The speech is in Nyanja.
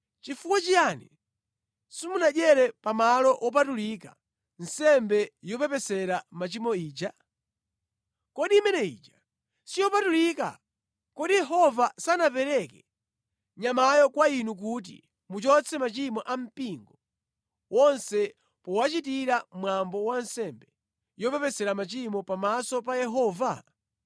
“Chifukwa chiyani simunadyere pamalo wopatulika nsembe yopepesera machimo ija? Kodi imene ija siyopatulika? Kodi Yehova sanapereke nyamayo kwa inu kuti muchotse machimo a mpingo wonse powachitira mwambo wa nsembe yopepesera machimo pamaso pa Yehova?